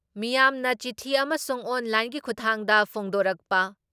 ꯃꯤꯌꯥꯝꯅ ꯆꯤꯊꯤ ꯑꯃꯁꯨꯡ ꯑꯣꯟ ꯂꯥꯏꯟꯒꯤ ꯈꯨꯊꯥꯡꯗ ꯐꯣꯡꯗꯣꯔꯛꯄ